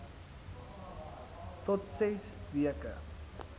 tot ses weke